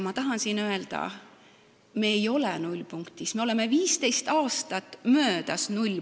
Ma tahan öelda, et me ei ole nullpunktis, nullpunktist on 15 aastat möödas.